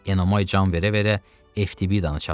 Enomay can verə-verə Eftibdanı çağırdı.